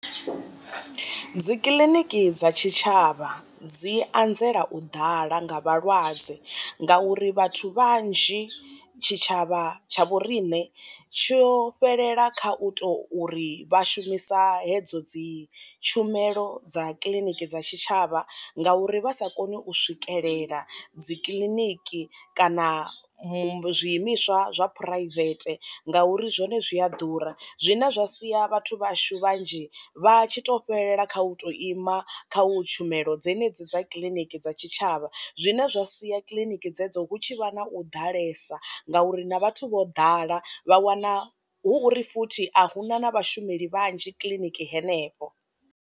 Dzi kiḽiniki dza tshi tshavha dzi anzela u ḓala nga vhalwadze ngauri vhathu vhanzhi tshi tshavha tsha vho riṋe tsho fhelela kha u to uri vha shumisa hedzo dzi tshumelo dza kiliniki dza tshitshavha ngauri vha sa koni u swikelela dzi kiḽiniki kana mu zwi imiswa zwa phuraivete nga uri zwone zwi a ḓura. Zwine zwa sia vhathu vhashu vhanzhi vha tshi to fhelela kha u to ima kha u tshumelo dzenedzi dza kiḽiniki dza tshi tshavha zwine zwa sia kiḽiniki dzedzo hu tshi vha na u ḓalesa ngauri na vhathu vho ḓala vha wana hu uri futhi a huna na vha shumeli vhanzhi kiḽiniki henefho.